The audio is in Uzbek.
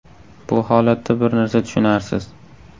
Bu holatda bir narsa tushunarsiz.